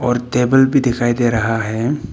Table भी दिखाई दे रहा है।